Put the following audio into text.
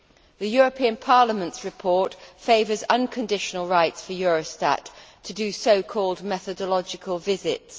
The European Parliament's report favours unconditional rights for Eurostat to do so called methodological visits.